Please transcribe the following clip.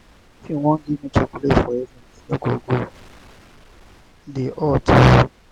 if you wan give me chocolate for evening e no go dey hot o.